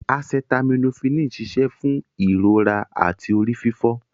Acetaminophini ń ṣiṣẹ́ fún ìrora àti orí fífọ.